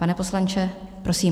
Pane poslanče, prosím.